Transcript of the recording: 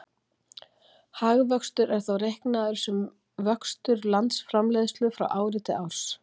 Hagvöxtur er þá reiknaður sem vöxtur landsframleiðslu frá ári til árs.